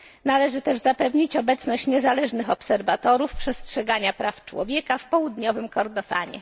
Należy też zapewnić obecność niezależnych obserwatorów przestrzegania praw człowieka w Południowym Kordofanie.